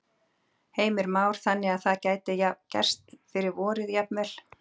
Heimir Már: Þannig að það gæti gerst fyrir vorið jafnvel?